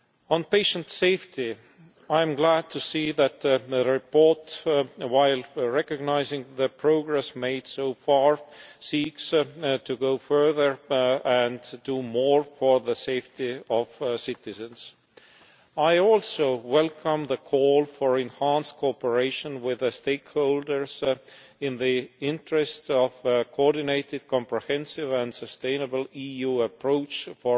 On patient safety, I am glad to see that the report, while recognising the progress made so far, seeks to go further and do more for the safety of citizens. I also welcome the call for enhanced cooperation with stakeholders in the interests of a coordinated, comprehensive and sustainable EU approach to